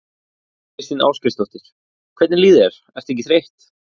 Þóra Kristín Ásgeirsdóttir: Hvernig líður þér, ertu ekki þreytt?